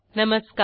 नमस्कार